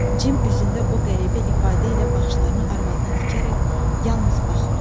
Cim üzündə o qəribə ifadə ilə baxışlarını arvadına dikərək yalnız baxırdı.